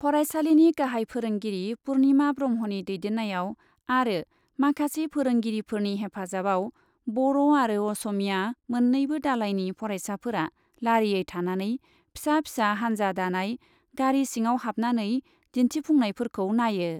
फरायसालिनि गाहाइ फोरोंगिरि पुर्णिमा ब्रह्मनि दैदेन्नायाव आरो माखासे फोरोंगिरिफोरनि हेफाजाबाव बर' आरो असमीया मोन्नैबो दालाइनि फरायसाफोरा लारियै थानानै फिसा फिसा हान्जा दानाय गारि सिङाव हाबनानै दिन्थिफुंनायफोरखौ नायो।